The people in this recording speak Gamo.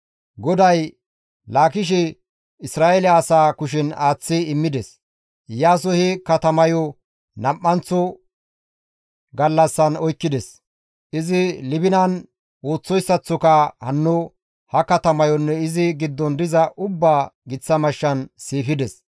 GODAY Laakishe Isra7eele asaa kushen aaththi immides; Iyaasoy he katamayo nam7anththo gallassan oykkides; izi Libinan ooththoyssaththoka hanno ha katamayonne izi giddon diza ubbaa giththa mashshan siifides.